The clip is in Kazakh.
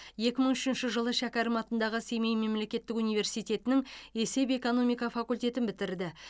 екі мың үшінші жылы шәкәрім атындағы семей мемлекеттік университетінің есеп экономика факультетін бітірді